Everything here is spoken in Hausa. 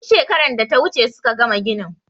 Tun shekaran da ta wuce suka gama ginin.